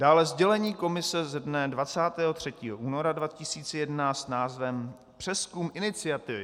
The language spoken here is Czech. Dále sdělení Komise ze dne 23. února 2011 s názvem Přezkum iniciativy.